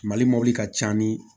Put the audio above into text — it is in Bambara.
Mali mɔbili ka ca ni